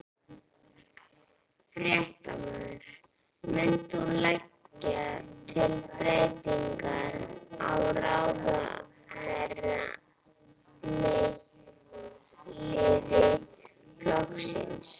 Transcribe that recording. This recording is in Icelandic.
Fréttamaður: Munt þú leggja til breytingar á ráðherraliði flokksins?